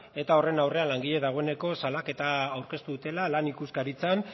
eta horren aurrean langileak dagoeneko salaketa aurkeztu dutela lan ikuskaritzan